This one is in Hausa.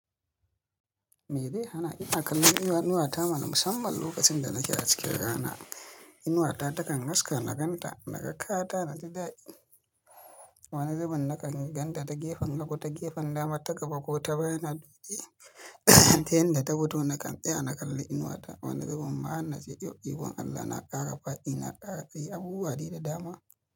Me dai hana? Ina kallon inuwa ta mana musamman lokacin da nake a cikin rana. Inuwa ta takan haska na ganta, naga kaya ta, na ji daɗi. Wani zubin na kan ganta ta gefen hagu, ta gefen dama ta gaba ko ta baya na dukde tayin da ta futo na kan tsaya na kalli inuwa ta. Wani zubin ma han nace yau, ikon Allah na ƙara faɗi, na ƙara tsayi abubuwa daida dama.